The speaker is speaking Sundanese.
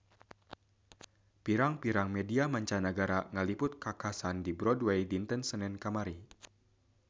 Pirang-pirang media mancanagara ngaliput kakhasan di Broadway dinten Senen kamari